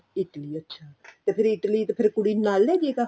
Italy ਅੱਛਾ ਤੇ ਫ਼ੇਰ Italy ਕੁੜੀ ਨੂੰ ਨਾਲ ਲੇ ਜਏਗਾ